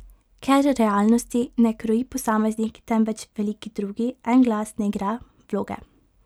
Ker realnosti ne kroji posameznik, temveč veliki drugi, en glas ne igra vloge.